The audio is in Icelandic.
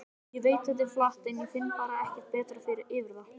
Ég veit þetta er flatt, en ég finn bara ekkert betra yfir það.